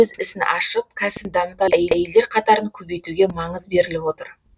өз ісін ашып кәсібін дамытатын әйелдер қатарын көбейтуге маңыз беріліп отыр